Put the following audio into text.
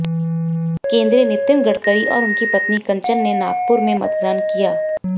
केंद्रीय नितिन गडकरी और उनकी पत्नी कंचन ने नागपुर में मतदान किया